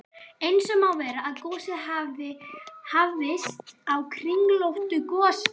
Eins má vera, að gosið hafi hafist á kringlóttu gosopi.